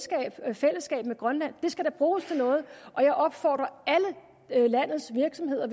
fællesskab med grønland det skal da bruges til noget og jeg opfordrer alle landets virksomheder